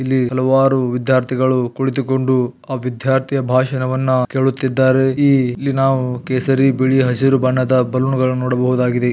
ಇಲ್ಲಿ ಹಲವಾರು ವಿದ್ದ್ಯಾರ್ಥಿಗಳು ಕುಳಿತುಕೊಂಡು ಆ ವಿದ್ದ್ಯಾರ್ಥಿಯ ಭಾಷಣವನ್ನ ಕೇಳುತಿದ್ದರೆ ಈ ಇಲ್ಲಿ ನಾವು ಕೇಸರಿ ಬಿಳಿ ಹಸಿರು ಬಣ್ಣದ ಬಲೂನ್ ಗಳನ್ನ ನೋಡಬವುದಾಗಿದೆ.